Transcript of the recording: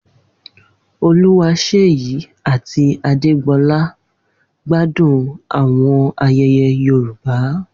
Oluwaseyi ati Adégbolá gbádùn àwọn ayẹyẹ Yorùbá.